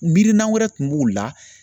Miirina wɛrɛ tun b'u la